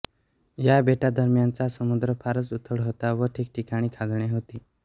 या बेटांदरम्यानचा समुद्र फारच उथळ होता व ठिकठिकाणी खाजणे होती